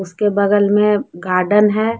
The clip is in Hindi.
उसके बगल में गार्डन है।